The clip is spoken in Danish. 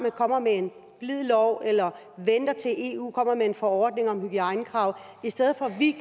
kommer med en blid lov eller venter til eu kommer med en forordning om hygiejnekrav i stedet for at vi